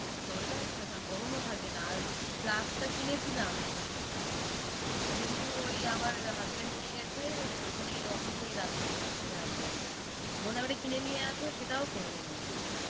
জলটা মানে থাকা গরম ও থাকে না আর flask টা কিনেছিলাম, কিন্তু ওই আমার husband নিয়ে গেছে ওখানে office এই রাখে নিয়ে আসেনি বললাম এটা কিনে আসো সেটাও করবেন না উনি।